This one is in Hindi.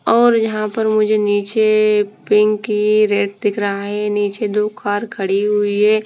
और यहाँ पर मुझे निचे पिंक ही रेड दिख रहा है निचे दो कार खड़ी हुई है।